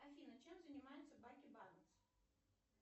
афина чем занимается баки барнс